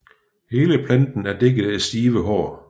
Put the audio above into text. Hele planten er dækket af stive hår